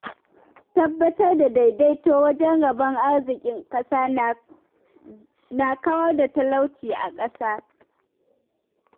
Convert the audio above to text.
Tabbatar da daidaito wajen rabon arzikin ƙasa na kawar da talauci a ƙasa.